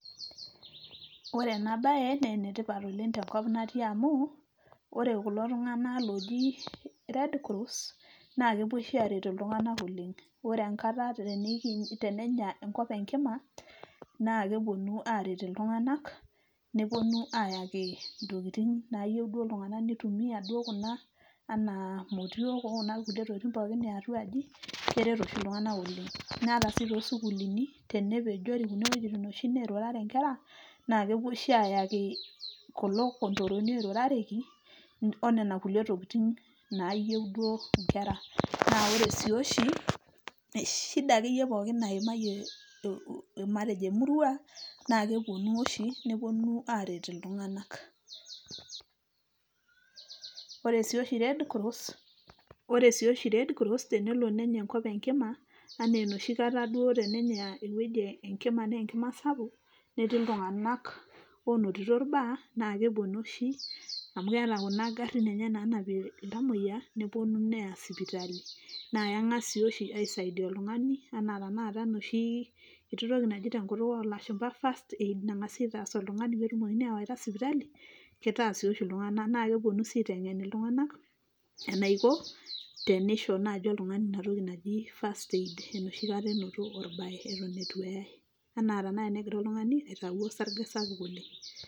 Ore ena bae naa ene tipat oleng tenkop natii amu ore kulo tunganak loji red cross naa kepuo oshi aret iltunganak oleng. Ore enkata tenenya iltunganak enkima naa kepuonu aret iltunganak neponu ayaki iltunganak intokitin duoo nayieu nitumia kuna anaa motiook okuna tokitin pookin eatua aji keret oshi iltungank oleng. Naa ata oshi toosukuulini tenepejoki iwuejitin nirurare inkera naa kepuo oshi ayaki kulo kondoroni oirurareki onena kulie tokitin naayieu duoo nayieu inkera. Naa ore si oshi ,shida akeyie pookin naimayie matejo emurua naa kepuonu oshi neponu aret iltunganak. Ore sii oshi red cross tenelooshi nenya enkop enkima anaa enoshi kata duoo tenenya ewueji enkima naa enkima sapuk, netii iltunganak onotito irbaa naa kepuonu oshi amu keeta kuna garin enye naanapie iltamoyia neponu neya sipitali. Naa kengas sii oshi angas aisaidia oltungani anaa tenakata enoshi toki naji tenkutuk olashumba first aid, nengasi aitaas oltungani peetumokini awaita sipitali , kitaas sii oshi iltunganak. Naa keponu sii oshi aitengen iltunganak enaiko tenisho naji oltungani ina toki naji first aid enoshi kata enoto orbae etu ee, anaa tenakata tenegira oltungani aitayu osarge sapuk oleng .